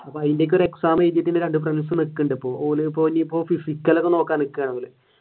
അതിന്റെ ഒക്കെ ഒരു exam എഴുതിയിട്ട് friends നിക്കുന്നുണ്ട് ഇപ്പോൾ ഓൻ ഇപ്പൊ physical ഒക്കെ നോക്കാൻ നിക്കുകയാണ്.